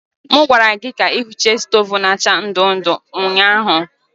M gwara gị ka ị hichaa stovu na acha ndu-ndu ụnyahụ!